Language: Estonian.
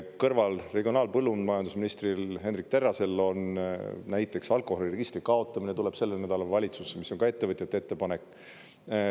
Kõrval, regionaal- ja põllumajandusministril Hendrik Terrasel on näiteks alkoholiregistri kaotamine, tuleb sellel nädalal valitsusse, mis on ka ettevõtjate ettepanek.